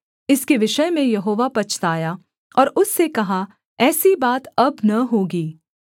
इसके विषय में यहोवा पछताया और उससे कहा ऐसी बात अब न होगी